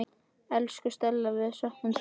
Elsku Stella, við söknum þín.